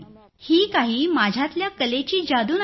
ही काही माझ्यातल्या कलेची जादू नाही